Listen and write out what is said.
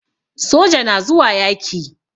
soja na zuwa yaki.